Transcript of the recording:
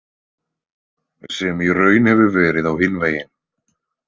Sem í raun hefur verið á hinn veginn.